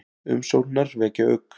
Umsóknirnar vekja ugg